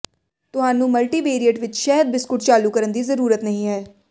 ਤੁਹਾਨੂੰ ਮਲਟੀਵਿਅਰਏਟ ਵਿੱਚ ਸ਼ਹਿਦ ਬਿਸਕੁਟ ਚਾਲੂ ਕਰਨ ਦੀ ਜ਼ਰੂਰਤ ਨਹੀਂ ਹੈ